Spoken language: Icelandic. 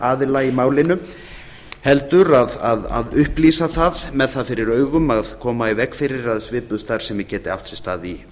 aðila í málinu heldur að upplýsa það með það fyrir augum að koma í veg fyrir að svipuð starfsemi geti átt sér stað í